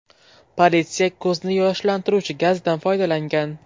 Politsiya ko‘zni yoshlantiruvchi gazdan foydalangan.